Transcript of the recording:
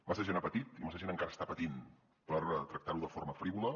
massa gent ha patit i massa gent encara està patint per tractar ho de forma frívola